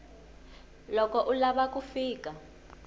loko u lava ku fika